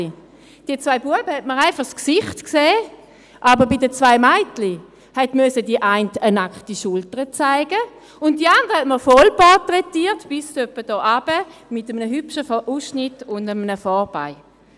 Von den zwei Knaben sieht man einfach das Gesicht, aber bei den zwei Mädchen hat eine die nackte Schulter zeigen müssen, während man die andere voll portraitiert mit einem hübschen Ausschnitt und einem Vorbau.